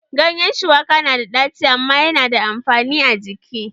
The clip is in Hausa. Ganyen shuwaka na da ɗaci amma ya na da amfani a jiki